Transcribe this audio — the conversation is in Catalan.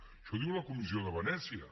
això ho diu la comissió de venècia